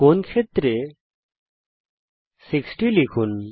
কোণ ক্ষেত্রে 60 লিখুন